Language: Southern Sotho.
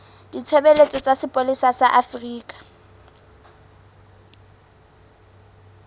ditshebeletso tsa sepolesa sa afrika